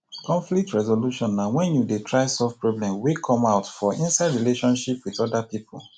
conflcit resolution na when you dey try solve problem wey come out for inside relationship with oda pipo